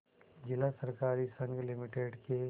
जिला सहकारी संघ लिमिटेड के